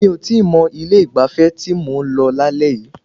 Mi ò tíì mọ̀ ilé ìgbafẹ́ tí mò ń lọ lálẹ́ yìí.